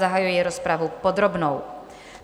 Zahajuji rozpravu podrobnou.